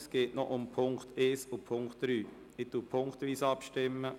Es geht noch um die Punkte 1 und 3. Wir stimmen punktweise ab.